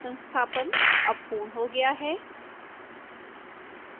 संस्थापन अब पूर्ण हो गया है